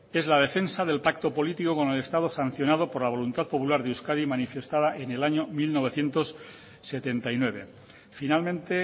es la defensa del pacto político con el estado sancionado por la voluntad popular de euskadi manifestada en el año mil novecientos setenta y nueve finalmente